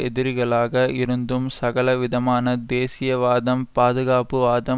எதிரிகளாக இருத்தும் சகல விதமான தேசியவாதம் பாதுகாப்புவாதம்